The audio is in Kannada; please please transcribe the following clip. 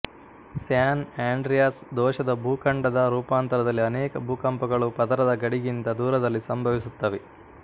ಸ್ಯಾನ್ ಆಂಡ್ರಿಯಾಸ್ ದೋಷದ ಭೂಖಂಡದ ರೂಪಾಂತರದಲ್ಲಿ ಅನೇಕ ಭೂಕಂಪಗಳು ಪದರದ ಗಡಿಗಿಂತ ದೂರದಲ್ಲಿ ಸಂಭವಿಸುತ್ತವೆ